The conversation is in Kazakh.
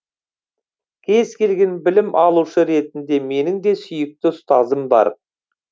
кез келген білім алушы ретінде менің де сүйікті ұстазым бар